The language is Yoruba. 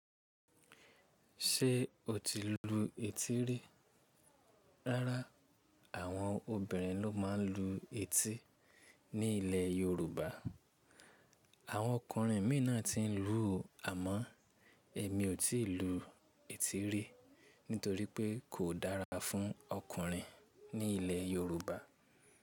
Ṣé o ti lu etí rí? Rárá, àwọn obìnrin ló máa ń lu etí ní ilẹ̀ Yorùbá. Àwọn ọkùnrin mìíràn ti ń lu àmọ́ èmi ò tíì lu etí rí nítorí pé kò dára fún ọkùnrin ní ilẹ̀ Yorùbá.